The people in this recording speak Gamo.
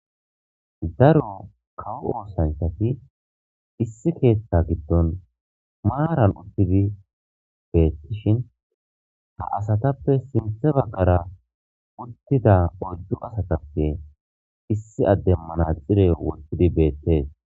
Daro kawo oosanthati issi keeththa giddon maaran uttidi beettishin ha asatappe sinthe bagkara uttida oyddu asatappe issi addemmana xire wottidi beettees.